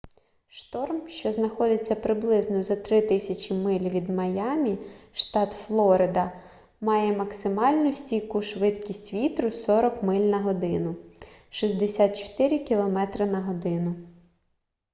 шторм що знаходиться приблизно за 3000 миль від майамі штат флорида має максимальну стійку швидкість вітру 40 миль на годину 64 км/год